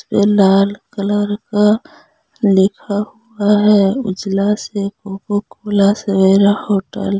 लाल colour का लिखा हुआ हैं उजला सवेरा होटल ।